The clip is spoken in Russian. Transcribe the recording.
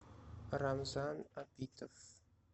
рамзан абитов